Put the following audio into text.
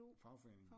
Fagforening